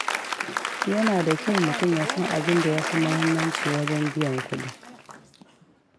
Yana da kyau mutum ya san abinda ya fi muhimmanci wajen biyan kuɗi.